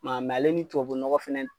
Ma ale ni tubabu nɔgɔ fɛnɛ